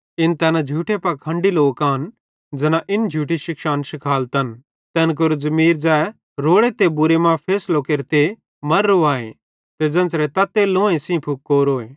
इन तैना झूठे पाखंडी लोक आन ज़ैना इन झूठी शिक्षान शिखालतन तैन केरो ज़मीर ज़ै रोड़े ते बुरे मां फैसलो केरते मर्रो आए ते ज़ेन्च़रे तात्ते लोंहे सेइं तै फुकोरोए